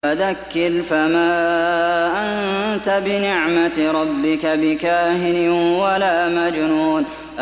فَذَكِّرْ فَمَا أَنتَ بِنِعْمَتِ رَبِّكَ بِكَاهِنٍ وَلَا مَجْنُونٍ